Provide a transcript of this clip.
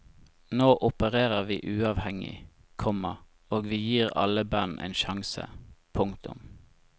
Nå operer vi uavhengig, komma og vi gir alle band en sjanse. punktum